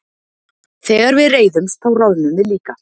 þegar við reiðumst þá roðnum við líka